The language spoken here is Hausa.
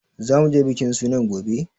Za mu je bikin sunan gobe?